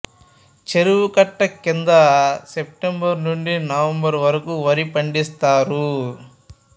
చెరువుకట్ట కింద సెప్టెంబరు నుండి నవంబరు వరకు వరి పండిస్తారు